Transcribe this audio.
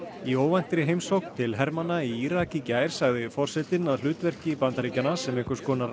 í óvæntri heimsókn til hermanna í Írak í gær sagði forsetinn að hlutverki Bandaríkjanna sem einhvers konar